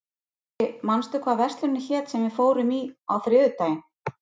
Bjarki, manstu hvað verslunin hét sem við fórum í á þriðjudaginn?